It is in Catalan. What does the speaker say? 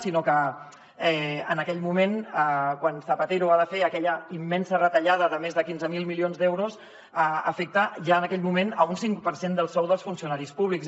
sinó que en aquell moment quan zapatero ha de fer aquella immensa retallada de més de quinze mil milions d’euros afecta ja en aquell moment un cinc per cent del sou dels funcionaris públics